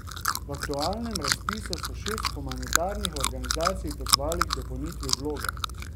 V aktualnem razpisu so šest humanitarnih organizacij pozvali k dopolnitvi vloge.